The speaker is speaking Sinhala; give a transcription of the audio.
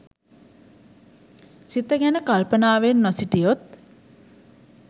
සිත ගැන කල්පනාවෙන් නොසිටියොත්